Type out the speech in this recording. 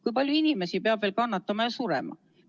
Kui palju inimesi peab veel kannatama ja surema?